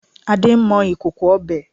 Ade ń mọ ìkòkò ọbẹ̀